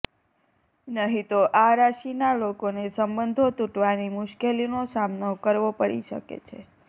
નહીં તો આ રાશિના લોકોને સંબંધો તૂટવાની મુશ્કેલીનો સામનો કરવો પડી શકે છે